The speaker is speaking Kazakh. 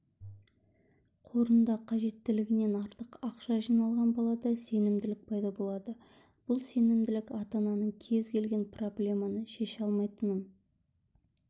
қорында қажеттілігінен артық ақша жиналған балада сенімділік пайда болады бұл сенімділік ата-ананың кез-келген проблеманы шеше алмайтынын